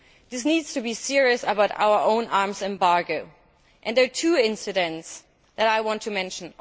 We need to be serious about our own arms embargo, and there are two incidents that I want to mention.